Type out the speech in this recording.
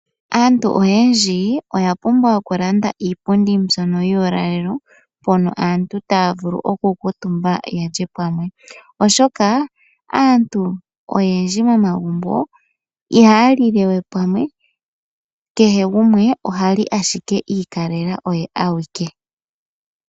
Aantu oyendji oya pumbwa oku landa iipundi mbyono yuulalelo mpono aantu taya vulu oku kuutumba yalye pamwe, oshoka aantu oyendji momagumbo ihaya lilewe pamwe kehe gumwe ohali ashike iikalela oye awike.